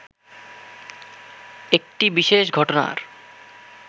একটি বিশেষ ঘটনার